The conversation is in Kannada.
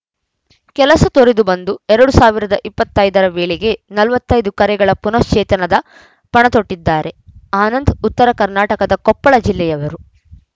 ಕೆಲಸ ತೊರೆದು ಬಂದು ಎರಡ್ ಸಾವಿರದ ಇಪ್ಪತ್ತ್ ಐದರ ವೇಳೆಗೆ ನಲವತ್ತ್ ಐದು ಕೆರೆಗಳ ಪುನಶ್ಚೇತನದ ಪಣತೊಟ್ಟಿದ್ದಾರೆ ಆನಂದ್‌ ಉತ್ತರ ಕರ್ನಾಟಕದ ಕೊಪ್ಪಳ ಜಿಲ್ಲೆಯವರು